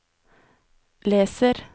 leser